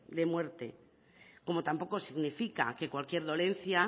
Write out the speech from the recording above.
de muerte como tampoco significa que cualquier dolencia